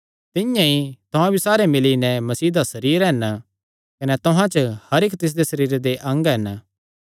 तिंआं ई तुहां भी सारे मिल्ली नैं मसीह दा सरीर हन कने तुहां च हर इक्क तिसदे सरीरे दे अंग हन